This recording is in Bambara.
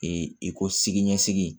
i ko siginisigi